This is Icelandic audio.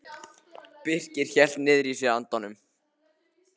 Birkir hélt niðri í sér andanum.